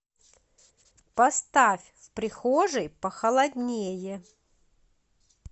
поставь в прихожей похолоднее